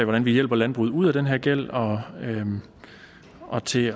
hvordan vi hjælper landbruget ud af den her gæld og og til